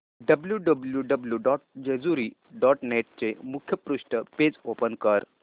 W W W dot Jejuri dot net चे मुखपृष्ठ page open कर